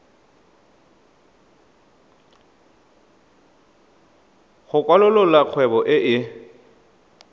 go kwalolola kgwebo e e